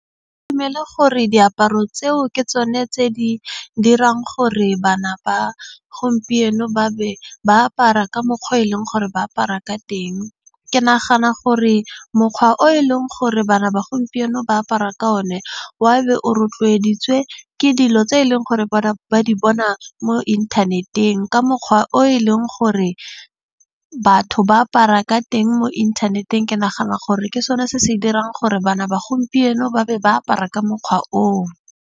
Ke dumele gore diaparo tseo ke tsone tse di dirang gore bana ba gompieno ba be ba apara ka mokgwa o e leng gore ba apara ka teng. Ke nagana gore mokgwa o e leng gore bana ba gompieno ba apara ka o ne, wa be o rotloeditswe ka ke dilo tse eleng gore bana ba di bona mo inthaneteng. Ka mokgwa o e leng gore batho ba apara ka teng mo inthaneteng, ke nagana gore ke sone se se dirang gore bana ba gompieno ba be ba apara ka mokgwa o.